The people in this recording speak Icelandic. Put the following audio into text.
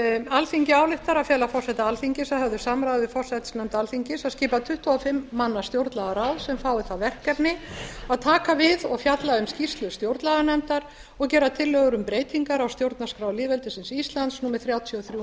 alþingi ályktar að fela forseta alþingis að höfðu samráði við forsætisnefnd alþingis að skipa tuttugu og fimm manna stjórnlagaráð sem fái það verkefni að taka við og fjalla um skýrslu stjórnlaganefndar og gera tillögur um breytingar á stjórnarskrá lýðveldisins íslands númer þrjátíu og þrjú